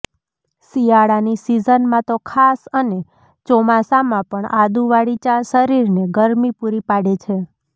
શિયાળાની સિઝનમાં તો ખાસ અને ચોમાસામાં પણ આદુવાળી ચા શરીરને ગરમી પૂરી પાડે છે